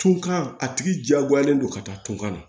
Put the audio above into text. Tunkan a tigi diyagoyalen don ka taa tunkan na